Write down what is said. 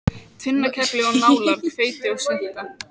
Tvinnakefli og nálar, hveiti og svuntur.